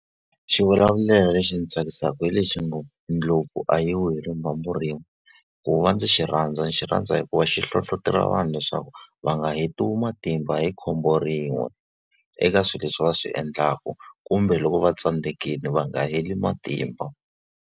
Xivulavulelo lexi ndzi tsakisaka hi lexi ngo ndlopfu a yi wi hi rimbambu rin'we. Ku va ndzi xi rhandza xi rhandza hikuva xi hlohletelo vanhu leswaku va nga hetiwi matimba hi khombo rin'we eka swilo leswi va swi endlaku, kumbe loko va tsandzekile va nga heli matimba.